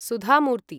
सुधा मूर्ति